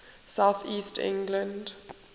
south east england